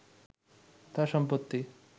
তার সম্পত্তি